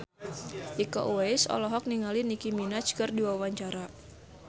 Iko Uwais olohok ningali Nicky Minaj keur diwawancara